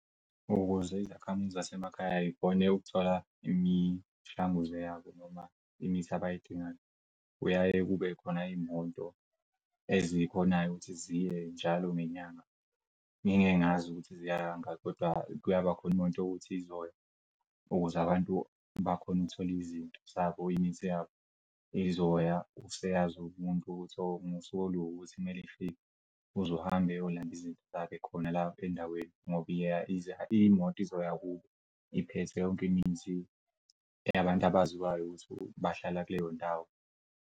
Ukuze izakhamuzi zasemakhaya ikhone ukuthola imishanguzo yabo noma imithi abayidingayo kuyaye kube khona iy'moto ezikhonayo ukuthi ziye njalo ngenyanga, ngingeke ngazi ukuthi ziya kangako kodwa kuyabakhona imoto yokuthi izoya ukuz'abantu bakhona ukuthola izinto zabo imithi yabo izoya useyazi umuntu ukuthi ngosuku oluwukuthi kumele ifike uze uhambe eyolanda izinto zakhe khona lapha endaweni ngoba imoto izoya kubo iphethe yonke imishini eyabantu abaziwayo ukuthi bahlala kuleyo ndawo.